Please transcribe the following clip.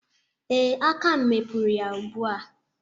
Ee, aka m mepuru ya ugbu a.